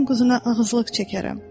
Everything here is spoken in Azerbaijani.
Mən sənin quzuna ağızlıq çəkərəm.